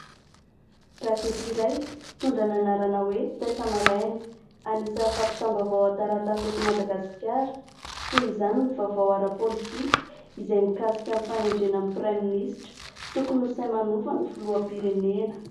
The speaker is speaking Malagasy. Gazety iray mitondra ny anarana hoe: "Taitra Maraina", anisany fampitam-baovao an-taratasy eto Madagasikara, toy izany ny vaovao ara-politika izay mikasika ny fanendrena ny praiministra, tokony ho sahy manova ny filoham-pirenena.